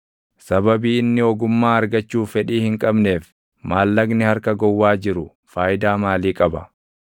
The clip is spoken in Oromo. Sababii inni ogummaa argachuuf fedhii hin qabneef, maallaqni harka gowwaa jiru faayidaa maalii qaba?